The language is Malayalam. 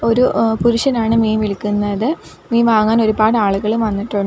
ഒര് ഏഹ് പുരുഷനാണ് മീൻ വിൽക്കുന്നത് മീൻ വാങ്ങാൻ ഒരുപാട് ആളുകളും വന്നിട്ടൊ --